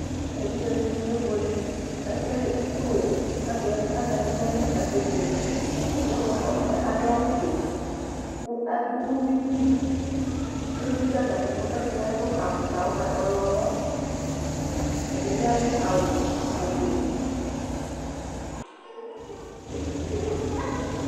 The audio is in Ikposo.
Evidzedɩnɩ kebuele : k'ekele itsuowu, k'ake azayi n'ayili k'ake bueme Ɛdɩɛ bʋa k'ɔta adʋ awʋfue , kʋ ɔdʋ uyui li Uyui dʋ atamɩɛtʋ, k'ɛdɩnɩ adʋ afʋkpa ʋgba ɔyɔmɔ; ɛdɩɛ bɩ adʋ awʋ ofue